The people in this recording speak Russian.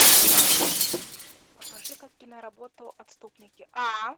покажи ка киноработу отступники